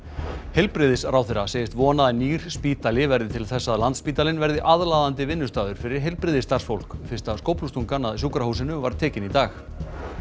heilbrigðisráðherra segist vona að nýr spítali verði til þess að Landspítalinn verði aðlaðandi vinnustaður fyrir heilbrigðisstarfsfólk fyrsta skóflustungan að sjúkrahúsinu var tekin í dag